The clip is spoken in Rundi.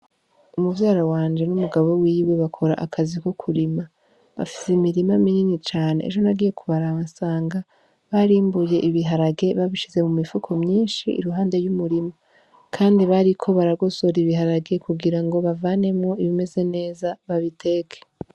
Umuvyara wanje n'umugabo wiwe bakora akazi ko kurima bafise imirima minini cane ejo nagiye kubarasanga barimbuye ibiharage babishize mu mifuko myinshi iruhande y'umurimo, kandi bariko baragosora ibiharage kugira ngo bavanemwo ibimeze neza babiteke.